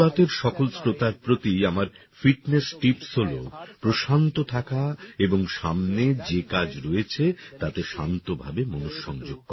মন কি বাতএর সকল শ্রোতার প্রতি আমার ফিটনেস টিপস্ হল প্রশান্ত থাকা এবং সামনে যে কাজ রয়েছে তাতে শান্ত ভাবে মনঃসংযোগ করা